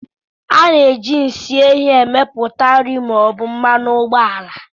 A na-eji nsị efi emepụta nri ma ọ bụ mmanụ ụgbọala